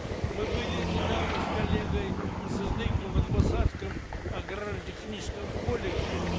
мы были недавно с коллегой сыздыковой в атбасарском аграрно техническом колледже